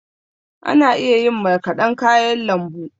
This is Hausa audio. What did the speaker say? Ana iya yin marƙadan kayan lambu.